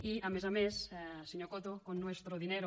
i a més a més senyor coto con nuestro dinero